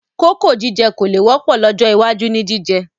Kókò jíjẹ kò le wọ́pọ̀ lọ́jọ́ iwájú ni jíjẹ